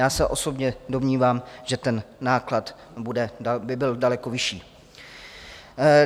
Já se osobně domnívám, že ten náklad by byl daleko vyšší.